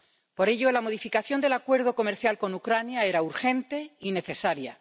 Por ello, la modificación del Acuerdo comercial con Ucrania era urgente y necesaria.